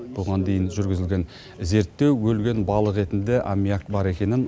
бұған дейін жүргізілген зерттеу өлген балық етінде аммиак бар екенін